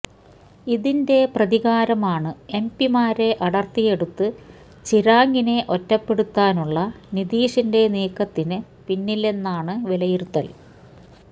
ഇതിന്റെ പ്രതികാരമാണ് എംപിമാരെ അടർത്തിയെടുത്തു ചിരാഗിനെ ഒറ്റപ്പെടുത്താനുള്ള നിതീഷിന്റെ നീക്കത്തിനു പിന്നിലെന്നാണു വിലയിരുത്തൽ